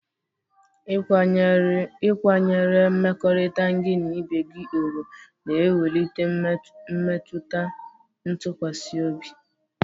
Ịkwanyere mmekọrịta gị na ibe gị ùgwù na-ewulite mmetụta ntụkwasị obi